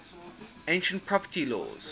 ancient property laws